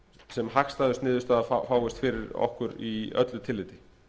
sem hagstæðust niðurstaða fáist fyrir okkur í öllu tilliti